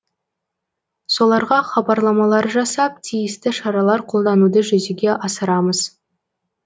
соларға хабарламалар жасап тиісті шаралар қолдануды жүзеге асырамыз